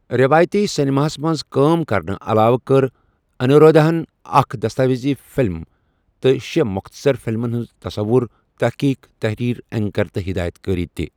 رٮ۪وٲیَتی سنیماہَس منٛز کٲم کرنہٕ علاوٕ کٔرۍ انیرودھاہَن اکھ دستاویزی فِلم تہٕ شیٚہ مختصر فلمَن ہُنٛد تصوُر، تٔحقیٖق، تٔحریٖر، اینکر تہٕ ہدایت کٲری تہِ۔